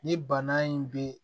Ni bana in bɛ